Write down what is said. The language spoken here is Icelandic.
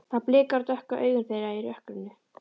Það blikar á dökku augun þeirra í rökkrinu.